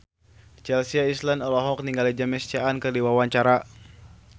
Chelsea Islan olohok ningali James Caan keur diwawancara